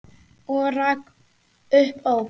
Og rak upp óp.